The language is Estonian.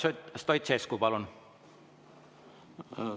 Kalev Stoicescu, palun!